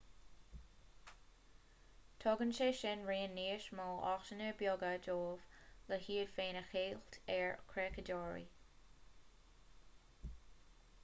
tugann sé sin raon níos mó áiteanna beaga dóibh le hiad féin a cheilt ar chreachadóirí